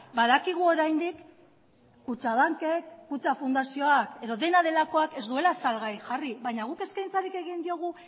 badakigu oraindik kutxabankek kutxa fundazioak edo dena delakoak ez duela salgai jarri baina guk eskaintzarik egin diogu